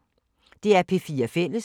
DR P4 Fælles